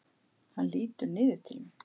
Hann lítur niður til mín.